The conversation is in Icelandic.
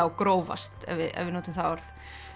grófast ef við notum það orð